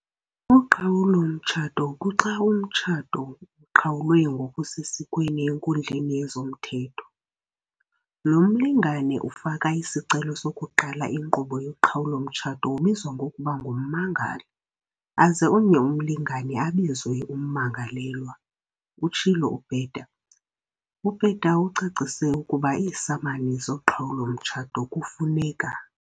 "Uqhawulo-mtshato kuxa umtshato uqhawulwe ngokusesikweni enkundleni yezomthetho. Lo mlingane ufaka isicelo sokuqala inkqubo yoqhawulo-mtshato ubizwa ngokuba ngummangali aze omnye umlingane abizwe ummangalelwa," utshilo uPeta. UPeta ucacise ukuba iisamani zoqhawulo-mtshato kufuneka.